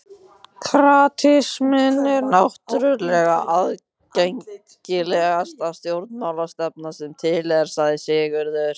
Kratisminn er náttúrlega aðgengilegasta stjórnmálastefna sem til er, sagði Sigurður.